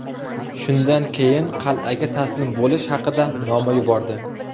Shundan keyin qal’aga taslim bo‘lish haqida noma yubordi .